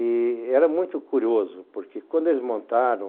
E era muito curioso porque quando eles montaram